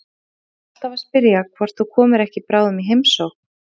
Ína er alltaf að spyrja hvort þú komir ekki bráðum í heimsókn.